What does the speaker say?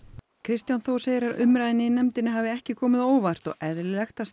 Kristján Þór segir að umræðan í nefndinni hafi ekki komið á óvart og eðlilegt að